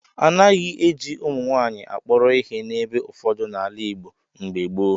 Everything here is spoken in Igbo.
A naghị eji ụmụnwaanyị akpọrọ ihe n'ebe ụfọdụ n'ala Igbo mgbe gboo.